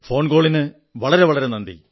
phone കോളിന് വളരെ വളരെ നന്ദി